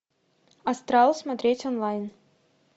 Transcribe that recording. астрал смотреть онлайн